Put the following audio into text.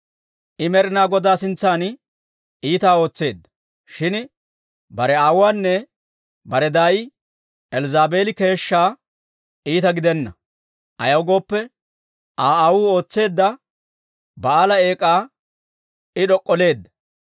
I Med'ina Godaa sintsan iitaa ootseedda. Shin bare aawuwaanne bare daay Elzzaabeeli keeshshaa iita gidenna; ayaw gooppe, Aa aawuu ootseedda Ba'aala eek'aa I d'ok'olleedda.